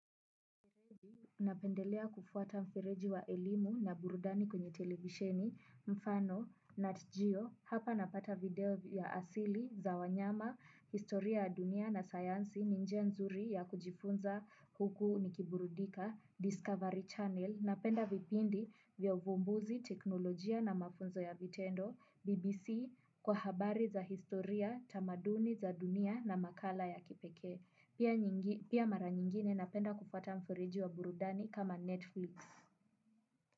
Napendelea kufuata mfereji wa elimu na burudani kwenye televisheni, mfano, nat geo, hapa napata video vya asili, za wanyama, historia ya dunia na sayansi, ni njia nzuri ya kujifunza huku nikiburudika, Discovery Channel, napenda vipindi vya uvumbuzi teknolojia na mafunzo ya vitendo, BBC kwa habari za historia, tamaduni za dunia na makala ya kipekee. Pia nyingi pia mara nyingine napenda kupata mfereji wa burudani kama netflix.